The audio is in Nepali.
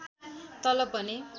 तलब भने